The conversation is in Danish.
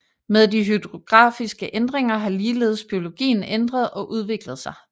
Med de hydrografiske ændringer har ligeledes biologien ændret og udviklet sig